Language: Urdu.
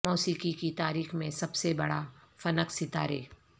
موسیقی کی تاریخ میں سب سے بڑا فنک ستارے